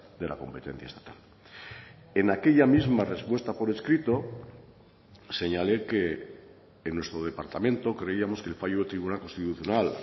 de la competencia estatal en aquella misma respuesta por escrito señalé que en nuestro departamento creíamos que el fallo del tribunal constitucional